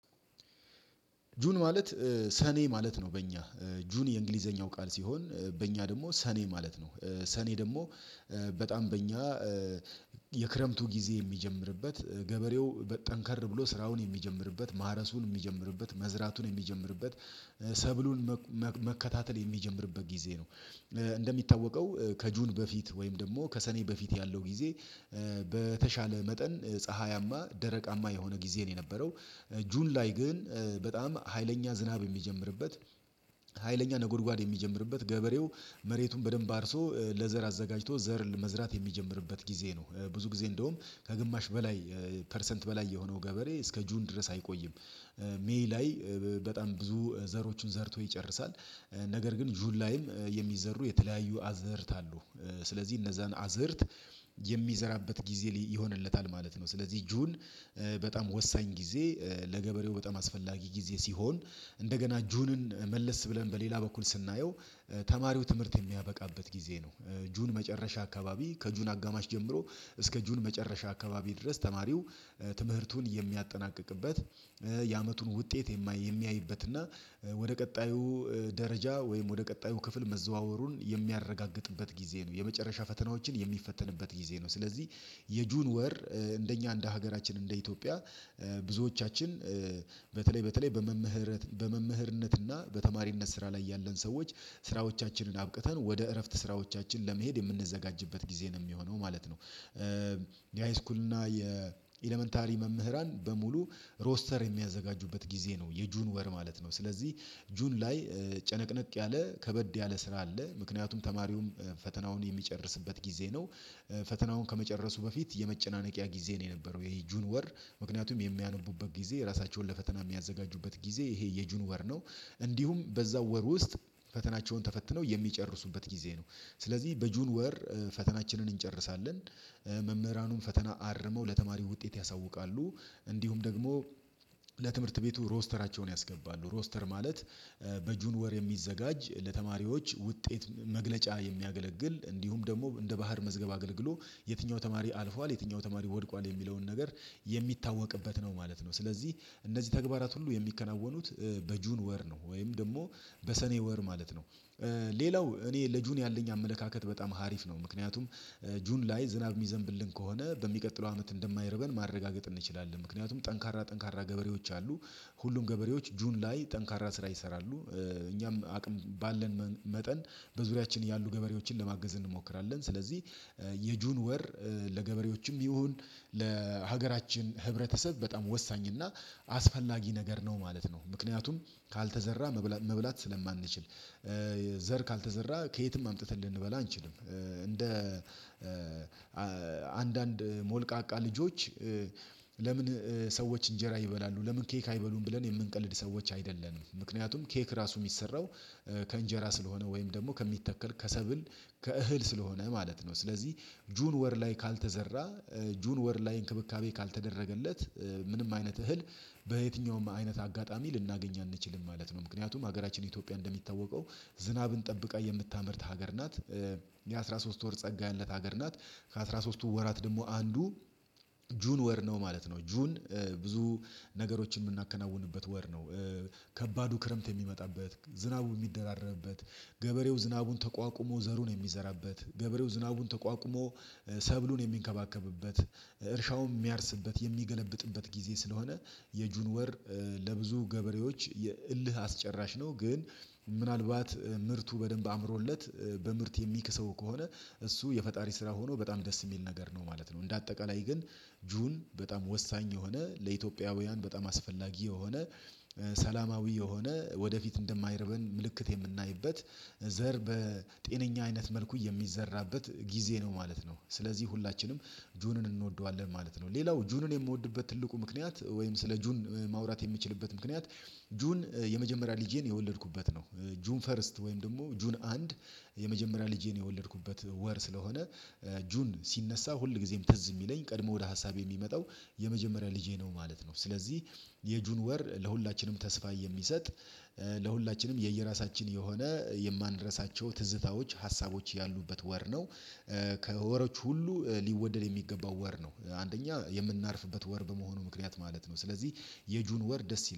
ጁን ማለት ሰኔ ማለት ነው። በእኛ ጁን የእንግሊዘኛው ቃል ሲሆን በእኛ ደግሞ ሰኔ ማለት ነው። ሰኔ ደግሞ በጣም በእኛ የክረምቱ ጊዜ የሚጀምርበት ገበሬው በጠንከር ብሎ ስራውን የሚጀምርበት ማረሱን የሚጀምርበት መዝራቱን የሚጀምርበት ሰብሉን መከታተል የሚጀምርበት ጊዜ ነው። እንደሚታወቀው ከጁን በፊት ወይም ደግሞ ከሰኔ በፊት ያለው ጊዜ በተሻለ መጠን ፀሀያማ ደረቃማ የሆነ ጊዜ ነው የነበረው። ጁን ላይ ግን በጣም ሀይለኛ ዝናብ የሚጀምርበት ሀይለኛ ነጎድጓድ የሚጀምርበት ገበሬው መሬቱን በደንብ አርሶ ለዘር አዘጋጅቶ ዘር ለመዝራት የሚጀምርበት ጊዜ ነው። ብዙ ጊዜ እንደውም ከግማሽ በላይ ፐርሰንት በላይ የሆነው ገበሬ እስከ ጁን ድረስ አይቆይም። ሜይ ላይ በጣም ብዙ ዘሮቹን ዘርቶ ይጨርሳል። ነገር ግን ጁል ላይም የሚዘሩ የተለያዩ አዘርት አሉ ስለዚህ እነዛን አዝርት የሚዘራበት ጊዜ ይሆንለታል ማለት ነው። ስለዚህ እጁን በጣም ወሳኝ ጊዜ ለገበሬው በጣም አስፈላጊ ጊዜ ሲሆን። እንደገና ጁንን መለስ ብለን በሌላ በኩል ስናየው ተማሪው ትምህርት የሚያበቃበት ጊዜ ነው። ጁን መጨረሻ አካባቢ ከጁን አጋማሽ ጀምሮ እስከ ጁን መጨረሻ አካባቢ ድረስ ተማሪው ትምህርቱን የሚያጠናቅቅበት የአመቱን ውጤት የማይ የሚያይበትና ወደ ቀጣዩ ደረጃ ወይም ወደ ቀጣዩ ክፍል መዘዋወሩን የሚያረጋግጥበት ጊዜ ነው የመጨረሻ ፈተናዎችን የሚፈተንበት ጊዜ ነው። ስለዚህ የጁን ወር እንደኛ እንደ ሀገራችን እንደ ኢትዮጵያ ብዙዎቻችን በተለይ በተለይ በመምህረት በመምህርነት እና በተማሪነት ስራ ላይ ያለን ሰዎች ስራዎቻችንን አብቅተን ወደ እረፍት ስራዎቻችን ለመሄድ የምንዘጋጅበት ጊዜ ነው የሚሆነው ማለት ነው። የሃይስኩል እና የኤለመንታሪ መምህራን በሙሉ ሮስተር የሚያዘጋጁበት ጊዜ ነው የጁን ወር ማለት ነው። ስለዚህ ጁን ላይ ጨነቅነቅ ያለ ከበድ ያለ ስራ አለ። ምክንያቱም ተማሪውም ፈተናውን የሚጨርስበት ጊዜ ነው ፈተናውን ከመጨረሱ በፊት የመጨናነቂያ ጊዜ ነው የነበረው ጁን ወር ምክንያቱም የሚያነቡበት ጊዜ ራሳቸውን ለፈተና የሚያዘጋጁበት ጊዜ ይሄ የጁንወር ነው። እንዲሁም በዛው ወር ውስጥ ፈተናቸውን ተፈትነው የሚጨርሱበት ጊዜ ነው። ስለዚህ በጁን ወር ፈተናችንን እንጨርሳለን መምህራኑን ፈተና አርመው ለተማሪው ውጤት ያሳውቃሉ። እንዲሁም ደግሞ ለትምህርት ቤቱ ሮስተራቸውን ያስገባሉ ሮስተር ማለት በጁን ወር የሚዘጋጅ ለተማሪዎች ውጤት መግለጫ የሚያገለግል እንዲሁም ደግሞ እንደ ባህር መዝገብ አገልግሎ የትኛው ተማሪ አልፏል የትኛው ተማሪ ወድቋል የሚለውን ነገር የሚታወቅበት ነው ማለት ነው። ስለዚህ እነዚህ ተግባራት ሁሉ የሚከናወኑት በጁን ወር ነው ወይም ደግሞ በሰኔ ወር ማለት ነው። ሌላው እኔ ልጁን ያለኝ አመለካከት በጣም ሀሪፍ ነው። ምክንያቱም ጁን ላይ ዝናብ የሚዘንብልን ከሆነ በሚቀጥለው አመት እንደማይረበን ማረጋገጥ እንችላለን ምክንያቱም ጠንካራ ጠንካራ ገበሬዎች አሉ ሁሉም ገበሬዎች ጁን ላይ ጠንካራ ስራ ይሰራሉ። እኛም አቅም ባለን መጠን በዙሪያችን ያሉ ገበሬዎችን ለማገዝ እንሞክራለን ስለዚህ የጁን ወር ለገበሬዎችም ቢሆን ለሀገራችን ህብረተሰብ በጣም ወሳኝ እና አስፈላጊ ነገር ነው ማለት ነው። ምክንያቱም ካልተዘራ መብላት ስለማንችል ዘር ካልተዘራ ከየትም አምጥተን ልንበላ አንችልም። እንደ አንዳንድ ሞልቃቃ ልጆች ለምን ሰዎች እንጀራ ይበላሉ ለምን ኬክ አይበሉም ብለን የምንቀልድ ሰዎች አይደለንም ምክንያቱም ኬክ ራሱ የሚሰራው ከእንጀራ ስለሆነ ወይም ደግሞ ከሚተከል ከሰብል ከእህል ስለሆነ ማለት ነው። ስለዚህ ጁን ወር ላይ ካልተዘራ ጁን ወር ላይ እንክብካቤ ካልተደረገለት ምንም አይነት እህል በየትኛውም አይነት አጋጣሚ ልናገኝ አንችልም ማለት ነው። ምክንያቱም ሀገራችን ኢትዮጵያ እንደሚታወቀው ዝናብን ጠብቃ የምታመርት ሀገር ናት። የአሥራ ሶስት ወር ጸጋ ያላት ሀገር ናት። ከአሥራ ሦስትቱ ወራት ደግሞ አንዱ ጁን ወር ነው ማለት ነው። ጁን ብዙ ነገሮችን የምናከናውንበት ወር ነው። ከባዱ ክረምት የሚመጣበት ዝናቡ የሚደራረርበት ገበሬው ዝናቡን ተቋቁሞ ዘሩን የሚዘራበት ገበሬው ዝናቡን ተቋቁሞ ሰብሉን የሚንከባከብበት እርሻውን የሚያርስበት የሚገለብጥበት ጊዜ ስለሆነ የጁን ወር ለብዙ ገበሬዎች የእልህ አስጨራሽ ነው ግን ምናልባት ምርቱ በደንብ አምሮለት በምርት የሚክሰው ከሆነ እሱ የፈጣሪ ስራ ሆኖ በጣም ደስ የሚል ነገር ነው ማለት ነው። እንደ አጠቃላይ ግን ጁን በጣም ወሳኝ የሆነ ለኢትዮጵያውያን በጣም አስፈላጊ የሆነ ሰላማዊ የሆነ ወደፊት እንደማይረበን ምልክት የምናይበት ዘር በጤነኛ አይነት መልኩ የሚዘራበት ጊዜ ነው ማለት ነው። ስለዚህ ሁላችንም ጁንን እንወደዋለን ማለት ነው። ሌላው ጁንን የምወድበት ትልቁ ምክንያት ወይም ስለ ጁን ማውራት የምችልበት ምክንያት ጁን የመጀመሪያ ልጄን የወለድኩበት ነው። ጁን ፈርስት ወይም ደግሞ ጁን አንድ የመጀመሪያ ልጄን የወለድኩበት ወር ስለሆነ ጁን ሲነሳ ሁልጊዜም ትዝ የሚለኝ ቀድሞ ወደ ሀሳቤ የሚመጣው የመጀመሪያ ልጄ ነው ማለት ነው። ስለዚህ የጁን ወር ለሁላችንም ተስፋ የሚሰጥ ለሁላችንም የየራሳችን የሆነ የማንረሳቸው ትዝታዎች ሀሳቦች ያሉበት ወር ነው። ከወሮች ሁሉ ሊወደድ የሚገባው ወር ነው አንደኛ የምናርፍበት ወር በመሆኑ ምክንያት ማለት ነው። ስለዚህ የጁን ወር ደስ ይላል